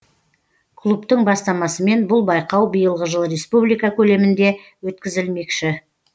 клубтың бастамасымен бұл байқау биылғы жылы республика көлемінде өткізілмекші